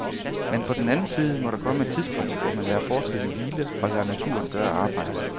Men på den anden side må der komme et tidspunkt, hvor man lader fortiden hvile og lader naturen gøre arbejdet.